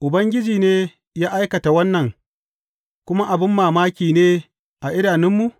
Ubangiji ne ya aikata wannan, kuma abin mamaki ne a idanunmu’?